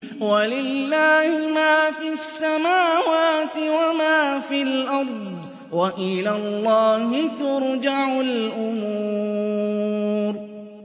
وَلِلَّهِ مَا فِي السَّمَاوَاتِ وَمَا فِي الْأَرْضِ ۚ وَإِلَى اللَّهِ تُرْجَعُ الْأُمُورُ